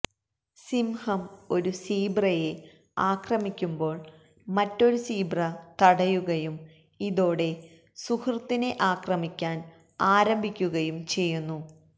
സിംഹം ഒരു സീബ്രയെ ആക്രമിക്കുമ്പോള് മറ്റൊരു സീബ്ര തടയുകയും ഇതോടെ സുഹൃത്തിനെ ആക്രമിക്കാന് ആരംഭിക്കുകയും ചെയ്യുന്നു